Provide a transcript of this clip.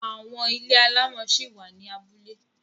Àwọn ilé alámọ̀ ṣi wà ní abúlé.